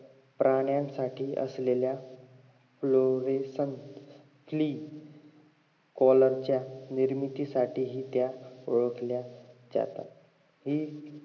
प्राण्यांसाठी असलेल्या fluorescent clee color च्या निर्मितीसाठी हि त्या ओळखल्या जातात हि